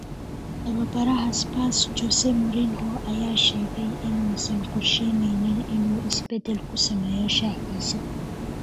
(Telegraph) Tababaraha Spurs Jose Mourinho ayaa sheegay inuusan qorsheyneynin inuu isbedel ku sameeyo shaxdiisa.